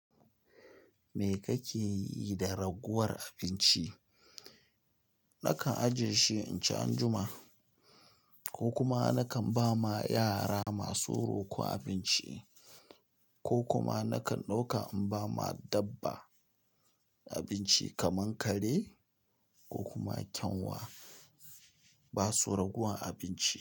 Me kake yi da ragowar abinci? Nakan ajiye shi inci anjuma, ko kuma nakan bama yara masu roko abinci, ko kuma nakan ɗauka in bama dabba abinci kamar kare ko kuma ƙyanwa. Basu ragowar abinci.